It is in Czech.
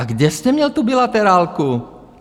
A kde jste měl tu bilaterálku?